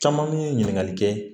Caman min ye ɲininkali kɛ